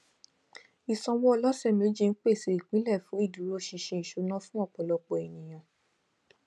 ìsanwó ọlọsẹméjì ń pèsè ìpìlẹ fún ìdúróṣinṣin ìṣúná fún ọpọlọpọ ẹnìyàn